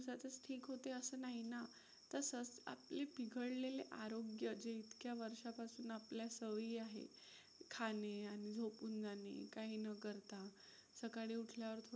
ठीक होते असं नाही ना. तसंच आपली बिघडलेले आरोग्य जे इतक्या वर्षापासून आपल्या सवयी आहेत खाणे आणि झोपून जाणे काही न करता. सकाळी उठल्यावर थोडं